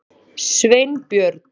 Sveinbjörn